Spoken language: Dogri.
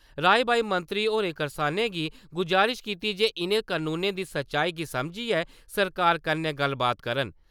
राई-बाई मंत्री होरें करसानें गी गजारश कीती जे इ'नें कनूनें दी सच्चाई गी समझियै सरकार कन्नै गल्लबात करन।